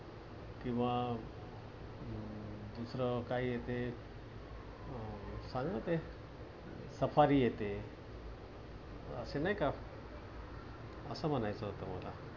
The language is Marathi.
किंवा दुसरं काय येते? अं काय ते सफारी येते. अस नाहीका अस म्हणायचं होतं मला.